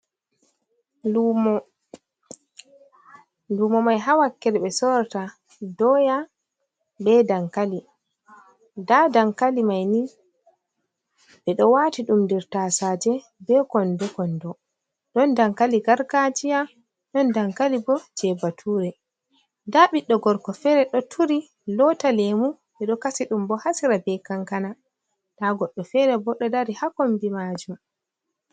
Luumo, luumo may haa wakkere ɓe sorata dooya, be dankali, ndaa dankali may ni, ɓe ɗo waati ɗum nder tasaaje, be konndo konndo, ɗon dankali gargaajiya, ɗon dankali bo jey batuure. Ndaa ɓiɗɗo gorko feere, ɗo turi loota leemu, ɓe ɗo kasi ɗum bo, haa sera be kankana, ndaa goɗɗo feere bo, ɗo dari haa kombi maajum.